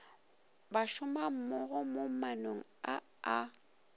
bašomammogo mo maanong a a